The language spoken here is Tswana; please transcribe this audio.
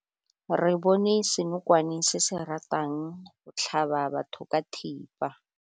Re bone senokwane se se ratang go tlhaba batho ka thipa.